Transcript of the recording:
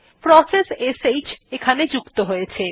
process শ্ যুক্ত হয়েছে